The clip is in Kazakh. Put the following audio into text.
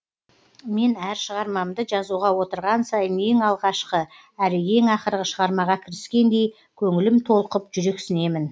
мен әр шығармамды жазуға отырған сайын ең алғашқы әрі ең ақырғы шығармаға кіріскендей көңілім толқып жүрексінемін